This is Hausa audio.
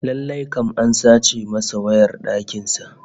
Lallai kam an sace masa wayar dakin sa